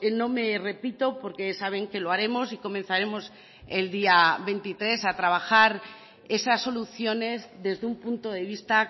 no me repito porque saben que lo haremos y comenzaremos el día veintitrés a trabajar esas soluciones desde un punto de vista